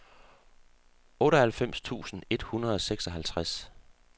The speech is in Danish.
otteoghalvfems tusind et hundrede og seksoghalvtreds